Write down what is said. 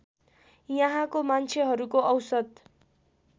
यहाँको मान्छेहरूको औसत